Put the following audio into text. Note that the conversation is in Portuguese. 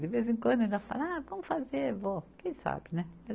De vez em quando ainda fala, ah, vamos fazer, vó, quem sabe, né?